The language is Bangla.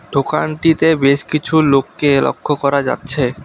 দোকানটিতে বেশ কিছু লোককে লক্ষ্য করা যাচ্ছে।